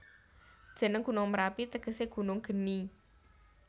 Jeneng Gunung Merapi tegese Gunung Geni